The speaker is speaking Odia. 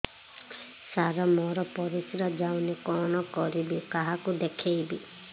ସାର ମୋର ପରିସ୍ରା ଯାଉନି କଣ କରିବି କାହାକୁ ଦେଖେଇବି